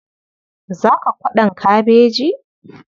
Za ka kwaɗon kabeji?